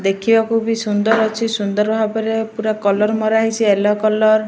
ଦେଖିବାକୁ ବି ସୁନ୍ଦର ଅଛି। ସୁନ୍ଦର ଭାବରେ ପୁରା କଲର୍ ମରା ହେଇଛି ୟଲୋ କଲର୍ ।